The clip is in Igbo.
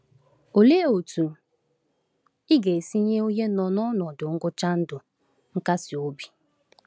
Olee otú ị ga-esi nye onye nọ n’ọnọdụ ngwụcha ndụ nkasiobi?